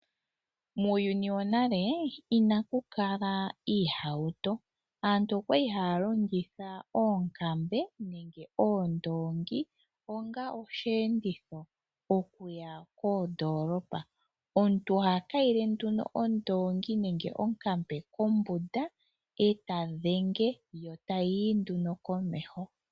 Muuyuni wonale inaku kala iihawuto aantu okwali haya longitha oonkambe nenge oondongi onga oshienditho okuya koodolopa. Omuntu oha kayile ondongi nenge onkambe kombunda eta dhenge yo tayi yi komeho.